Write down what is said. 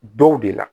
Dɔw de la